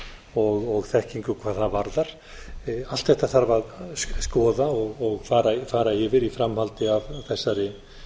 og þekkingu hvað það varðar allt þetta þarf að skoða og fara yfir í framhaldi af þessari